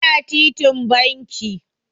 Yana titin banki.